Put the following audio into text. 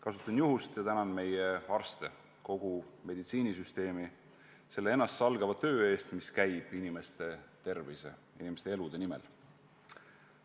Kasutan juhust, et tänada meie arste ja kogu meditsiinisüsteemi selle ennastsalgava töö eest, mis käib inimeste tervise ja elude nimel.